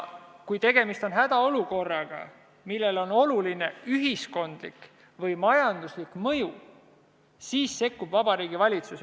Kui tegemist on hädaolukorraga, millel on oluline ühiskondlik või majanduslik mõju, siis sekkub Vabariigi Valitsus.